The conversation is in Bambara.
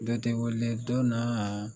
Dɔn tɛ weele dɔn na.